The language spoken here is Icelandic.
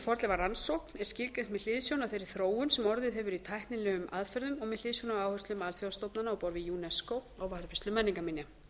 fornleifarannsókn er skilgreint með hliðsjón af þeirri þróun sem orðið hefur í tæknilegum aðferðum og með hliðsjón af áherslum alþjóðastofnana á borð við unesco á varðveislu menningarminja